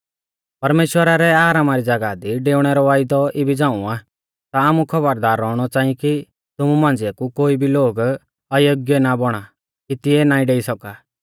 परमेश्‍वरा रै आरामा री ज़ागाह दी डेऊणै रौ वायदौ इबी झ़ांऊ आ ता आमु खौबरदार रौउणौ च़ांई कि तुमु मांझ़िऐ कु कोई भी लोग अयोग्य ना बौणा कि तिऐ ना डेई सौका